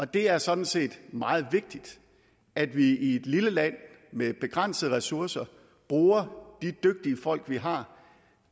det er sådan set meget vigtigt at vi i et lille land med begrænsede ressourcer bruger de dygtige folk vi har